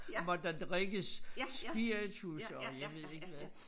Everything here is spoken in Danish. Måtte der drikkes spiritus og jeg ved ikke hvad